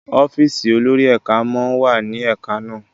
ọ́fíìsì olórí ẹka món wá ní ẹka na